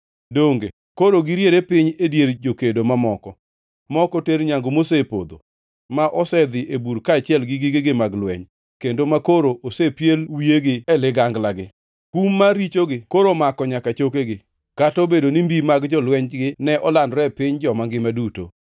Donge koro giriere piny e dier jokedo mamoko ma ok oter nyangu mosepodho, ma osedhi e bur kaachiel gi gigegi mag lweny, kendo makoro osepiel wiyegi e liganglagi? Kum mar richogi koro omako nyaka chokegi, kata obedo ni mbi mag jolwenygi ne olandore e piny joma ngima duto.